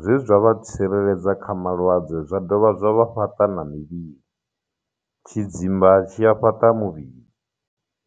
zwezwa vha tsireledza kha malwadze zwa dovha zwa vha fhaṱa na mivhili tshidzimba tshi a fhaṱa muvhili